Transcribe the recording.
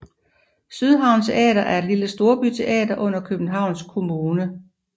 Sydhavn Teater er et lille storbyteater under Københavns Kommune